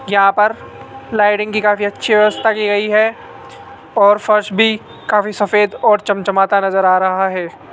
यहां पर लाइटिंग की काफी अच्छी व्यवस्था की गयी है और फर्श भी काफी सफेद और चम चमाता नजर आ रहा है।